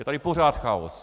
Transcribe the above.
Je tady pořád chaos.